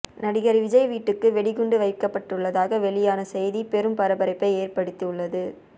நடிகர் விஜய் வீட்டுக்கு வெடிகுண்டு வைக்கப்பட்டுள்ளதாக வெளியான செய்தி பெரும் பரபரப்பை ஏற்படுத்தியுள்ளது